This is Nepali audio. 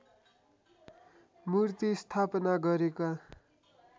मूर्ति स्थापना गरेका